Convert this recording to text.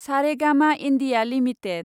Saregama India limited